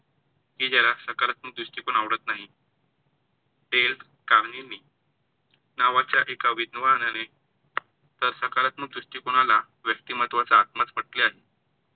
की ज्याला सकारात्मक दृष्टीकोण आवडत नाही. टेल काम्हीवी नावाच्या एका विद्वानाने तर सकारात्मक दृष्टिकोनाला व्यक्तिमत्वाचा आत्मास पटल्यास